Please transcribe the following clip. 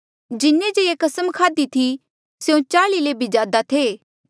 जिन्हें जे ये कसम खाध्ही थी स्यों चाल्ई ले भी ज्यादा थे